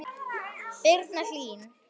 Birna Hlín.